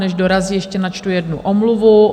Než dorazí, ještě načtu jednu omluvu.